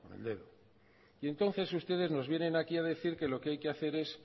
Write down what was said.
entonces ustedes nos vienen aquí a decir que lo que hay que hacer es